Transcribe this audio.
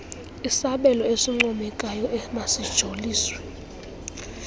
isabelo esincomekayo emasijoliswe